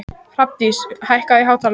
Hrafndís, hækkaðu í hátalaranum.